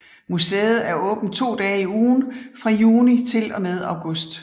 Museet er åbent 2 dage i ugen fra juni til og med august